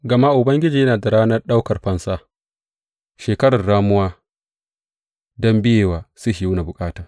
Gama Ubangiji yana da ranar ɗaukar fansa, shekarar ramuwa, don biya wa Sihiyona bukata.